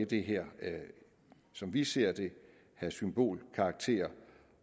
det her som vi ser det have symbolkarakter